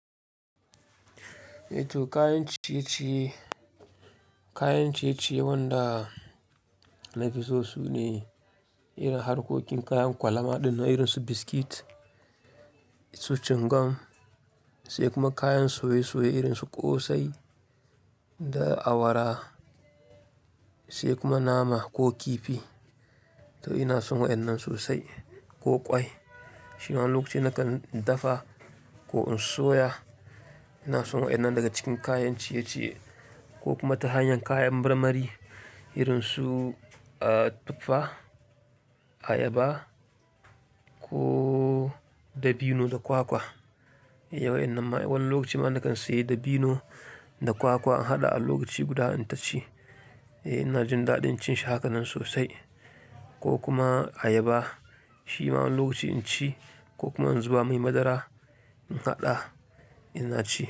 To kayan ciye-ciye, kayan ciye-ciye wanda nafi so sune irin harkokin kayan kwalama ɗin irin su biskit, su cingam sai kuma kayan soye-soye irin su ƙosai da awara sai kuma nama ko kifi. To ina son waɗannan sosai ko kwai. Shi ma wani lokaci nakan dafa ko in soya. Ina son waɗannan daga cikin kayan ciye-ciye ko kuma ta hanyar kayan marmari irin su, ah, tuffa, ayaba ko dabino da kwakwa. Yawan lokaci ma nakan sayi dabino da kwakwa in haɗa a lokaci guda in taci. Eh ina jin daɗin cin shi hakan nan sosai ko kuma ayaba. Shi ma wani lokaci in ci ko kuma in zuba mai madara in haɗa ina ci.